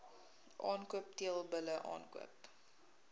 aankoop teelbulle aankoop